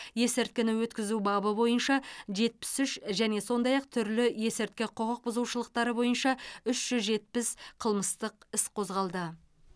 есірткіні өткізу бабы бойынша жетпіс үш және сондай ақ түрлі есірткі құқық бұзушылықтары бойынша үш жүз жетпіс қылмыстық іс қозғалды